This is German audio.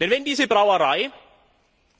Denn wenn diese Brauerei